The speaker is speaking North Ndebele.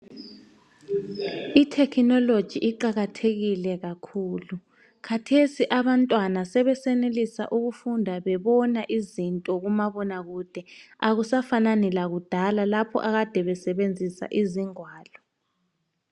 I"technology" iqakathekile kakhulu, khathesi abantwana sebesenelisa ukufunda izinto bebona kumabonakude. Akusafanani lakudala lapho akade besebenzisa izingwalo.